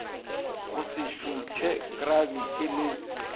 go se šuthe krabiti le